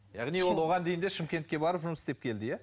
яғни ол оған дейін де шымкентке барып жұмыс істеп келді иә